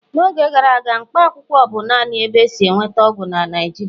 n'oge gara aga, Mkpaakwụkwọ bụ naanị ebe e si enweta ọgwụ na Naịjirịa